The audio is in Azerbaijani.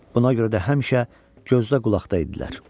Buna görə də həmişə gözdə-qulaqda idilər.